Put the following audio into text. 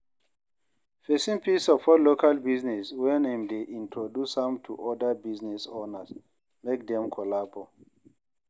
Persin fit support local business when im de introduce am to oda business owners make dem collabo